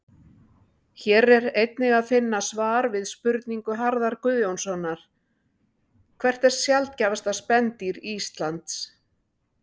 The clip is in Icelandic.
Hér er einnig að finna svar við spurningu Harðar Guðjónssonar Hvert er sjaldgæfasta spendýr Íslands?